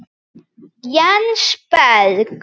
Jens Berg.